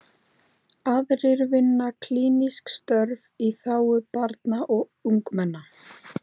Aðrir vinna klínísk störf í þágu barna og ungmenna.